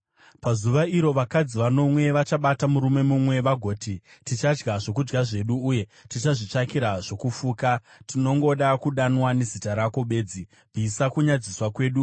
Pazuva iro vakadzi vanomwe vachabata murume mumwe vagoti, “Tichadya zvokudya zvedu uye tichazvitsvakira zvokufuka. Tinongoda kudanwa nezita rako bedzi. Bvisa kunyadziswa kwedu!”